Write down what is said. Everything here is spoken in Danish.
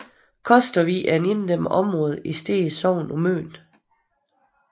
Kostervig er et inddæmmet område i Stege Sogn på Møn